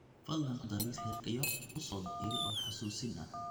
fadhlan ku dar liiska xiriirka iyo u soo dir iimayl oo xasuusin ah